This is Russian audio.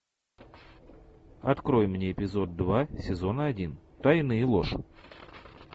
открой мне эпизод два сезона один тайны и ложь